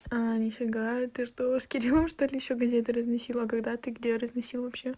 а нифига ты что с кириллом что ли ещё газету разносила когда ты где разносила вообще